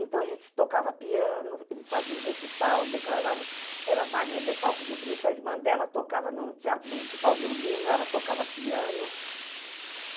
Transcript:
Então, a gente tocava piano, eles faziam recital, declarava... Era Maria Lefalco de Brito, a irmã dela tocava no Teatro Municipal Violino, ela tocava piano.